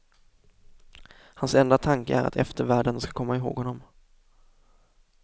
Hans enda tanke är att eftervärlden ska komma ihåg honom.